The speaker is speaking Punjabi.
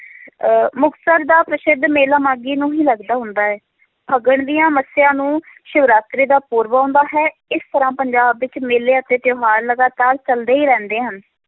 ਅਹ ਮੁਕਤਸਰ ਦਾ ਪ੍ਰਸਿੱਧ ਮੇਲਾ ਮਾਘੀ ਨੂੰ ਹੀ ਲੱਗਦਾ ਹੁੰਦਾ ਹੈ, ਫੱਗਣ ਦੀਆਂ ਮੱਸਿਆ ਨੂੰ ਸਿਵਰਾਤਰੀ ਦਾ ਪੁਰਬ ਆਉਂਦਾ ਹੈ, ਇਸ ਤਰ੍ਹਾਂ ਪੰਜਾਬ ਵਿੱਚ ਮੇਲਿਆਂ ਤੇ ਤਿਉਹਾਰ ਲਗਾਤਾਰ ਚੱਲਦੇ ਹੀ ਰਹਿੰਦੇ ਹਨ,